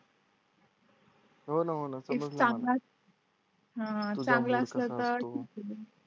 हो ना हो ना चांगला असला तर